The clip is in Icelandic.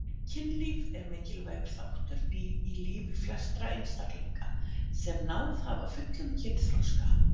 Kynlíf er mikilvægur þáttur í lífi flestra einstaklinga sem náð hafa fullum kynþroska.